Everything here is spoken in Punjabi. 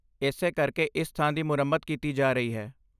ਇਸੇ ਕਰਕੇ ਇਸ ਥਾਂ ਦੀ ਮੁਰੰਮਤ ਕੀਤੀ ਜਾ ਰਹੀ ਹੈ।